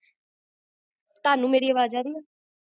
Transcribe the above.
ਹਾਂਜੀ ਹਾਂਜੀ ਹਾਂਜੀ ਥੋੜਾ ਜੇਹਾ pause ਆਗਿਆ ਸੀਗਾ ਤਾਣੁ ਮੇਰੀ ਆਵਾਜ ਆਰਹੀ ਹੈ?